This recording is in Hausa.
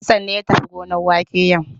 Hassan ne ya tafi gonar wake yau.